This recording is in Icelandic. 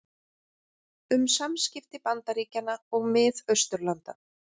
Um samskipti Bandaríkjanna og Mið-Austurlanda